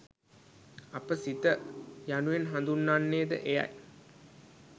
අප සිත යනුවෙන් හඳුන්වන්නේ ද එයයි.